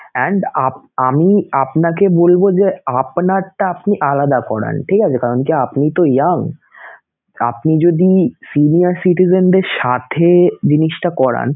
and আপ~ আমি আপনাকে বলবো যে আপনারটা আপনি আলাদা করান, ঠিক আছেকারণ কি আপনি তো young, আপনি যদি senior citizen দের সাথে জিনিসটা করান